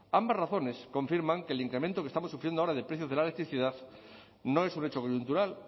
ambas razones confirman que el incremento que estamos sufriendo ahora de precios de la electricidad no es un hecho coyuntural